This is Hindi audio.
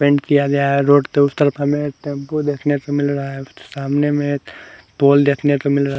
पेंट किया गया है रोड के उस तरफ हमे एक टैम्पो देखने को मिल रहा है सामने में पोल देखने को मिल रहा है।